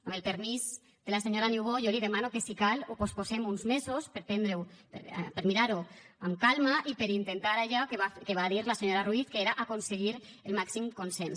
amb el permís de la senyora niubó jo li demano que si cal ho posposem uns mesos per mirar ho amb calma i per intentar allò que va dir la senyora ruiz que era aconseguir el màxim consens